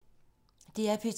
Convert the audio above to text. DR P2